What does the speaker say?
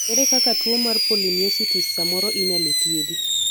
ere kaka tuo mar polymyositis samoro inyalo thiedhi